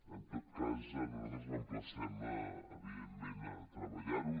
en tot cas nosaltres l’emplacem evidentment a treballar ho